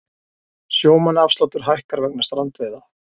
Sjómannaafsláttur hækkar vegna strandveiða